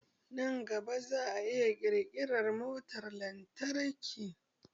Nan gaba za a iya ƙirƙiran motar lantarki